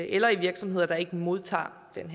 eller i virksomheder der ikke modtager den